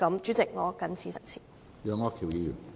主席，我謹此陳辭。